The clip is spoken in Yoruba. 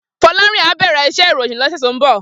Folarin á bèrè iṣè iróyin lòsè tó n bò